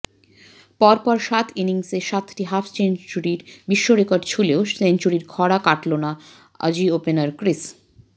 পরপর সাত ইনিংসে সাতটি হাফ সেঞ্চুরির বিশ্বরেকর্ড ছুঁলেও সেঞ্চুরির খরা কাটল না অজি ওপেনার ক্রিস